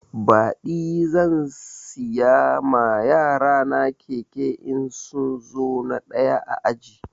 Baɗi zan siya ma yarana keke in sun zo na ɗaya a aji